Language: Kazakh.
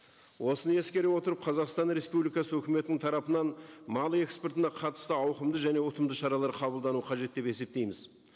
осыны ескере отырып қазақстан республикасы өкіметінің тарапынан мал экспортына қатысты ауқымды және ұтымды шаралар қабылдануы қажет деп есептейміз